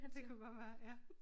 Det kunne godt være ja